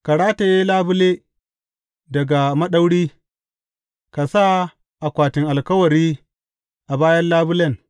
Ka rataye labule daga maɗauri, ka sa akwatin alkawari a bayan labulen.